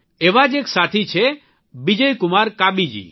એવા જ એક સાથી છે બિજયકુમાર કાબી જી